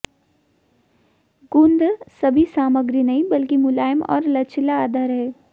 गूंध सभी सामग्री नहीं बल्कि मुलायम और लचीला आधार हैं